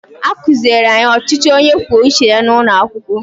A kụziiri anyị ọchịchị onye kwuo uche ya n’ụlọ akwụkwọ